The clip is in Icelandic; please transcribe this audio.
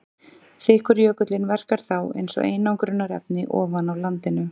Þykkur jökullinn verkar þá eins og einangrunarefni ofan á landinu.